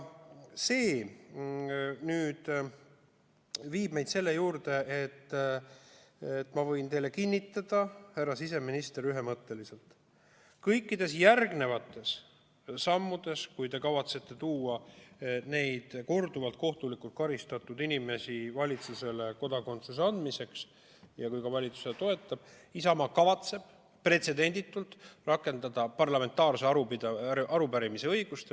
See viib meid selle juurde, et ma võin teile kinnitada, härra siseminister, ühemõtteliselt: kõikide järgnevate sammude korral, kui te kavatsete tuua nende korduvalt kohtulikult karistatud inimeste valitsusse, andmaks neile kodakondsus, ja kui valitsus seda toetab, kavatseb Isamaa pretsedenditult rakendada parlamentaarse arupärimise õigust.